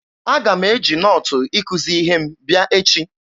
Aga m eji nootu ikuzi ihe m bịa echi